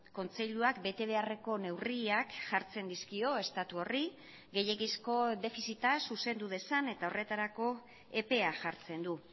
kontseiluak bete beharreko neurriak jartzen dizkio estatu horri gehiegizko defizita zuzendu dezan eta horretarako epea jartzen du